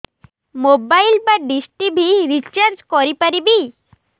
mobile ବା dish TV recharge କରି ପାରିବି